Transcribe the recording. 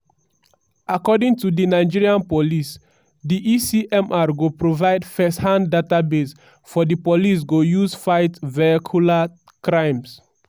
according to di nigeria police di e-cmr go provide firsthand database for di police go use fight vehicular crimes.